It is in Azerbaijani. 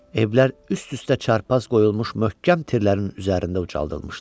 Evlər üst-üstə çarpaz qoyulmuş möhkəm tirlərin üzərində ucaldılmışdı.